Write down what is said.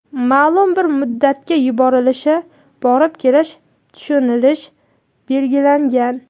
maʼlum bir muddatga yuborilishi (borib kelish) tushunilishi belgilangan.